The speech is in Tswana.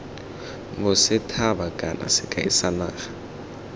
bosethaba kana sekai sa naga